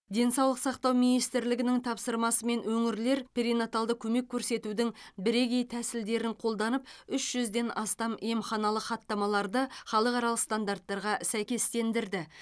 денсаулық сақтау министрлігінің тапсырмасымен өңірлер перинаталды көмек көрсетудің бірегей тәсілдерін қолданып үш жүзден астам емханалық хаттамаларды халықаралық стандарттарға сәйкестендірді